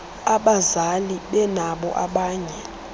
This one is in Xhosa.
abazali benabo abanye